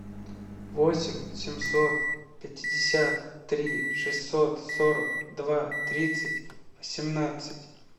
восемь семьсот пятьдесят три шестьсот сорок два тридцать семнадцать